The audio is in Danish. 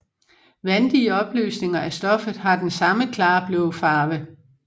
Vandige opløsninger af stoffet har den samme klare blå farve